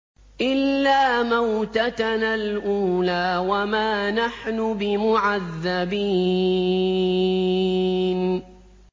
إِلَّا مَوْتَتَنَا الْأُولَىٰ وَمَا نَحْنُ بِمُعَذَّبِينَ